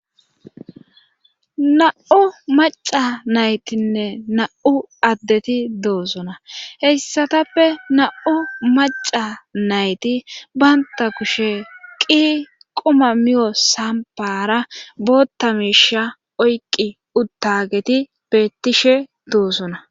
na7u maca naytinne na7u addeti doosona heyssatappe na7u maca nayti baynta kushe qi quma miyo sampara bootta miisha oyqqi uttageti bettishe doosona